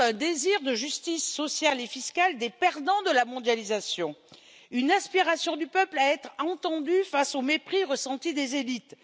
Ils expriment un désir de justice sociale et fiscale des perdants de la mondialisation, une aspiration du peuple à être entendu face au mépris ressenti des élites.